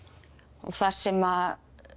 þar sem